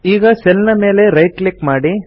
ಈಗ ಸೆಲ್ ನ ಮೇಲೆ ರೈಟ್ ಕ್ಲಿಕ್ ಮಾಡಿ